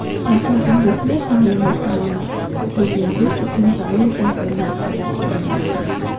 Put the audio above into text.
Mablag‘ingizni ta’lim va salomatligingiz uchun zarur bo‘lgan narsalarga yo‘naltiring.